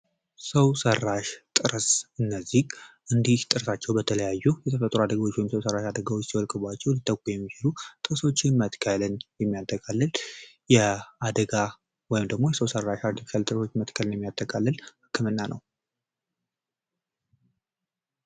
ሰው ሰራሽ ጥርስ እነዚህ እንዲህ ጥርሳቸው በተለያዩ የተፈጥሮ አደጋዎች ወይም ሰው ሰራሽ አደጋዎች ሲወልቅባቸው ሊተኩ የሚችሉ ጥርሶች መትከልን የሚያጠቃልል የአደጋው ደግሞ የሰው ሰራሽ አርቲፊሻል ጥርሶች መትከልን የሚያጠቃልል ህክምና ነው።